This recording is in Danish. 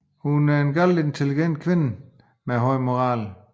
Hun er en meget intelligent kvinde med høj moral